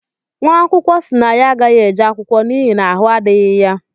nwaakwụkwọ si na ya agaghi-eje akwụkwọ n’ihi na ahụ adighi ya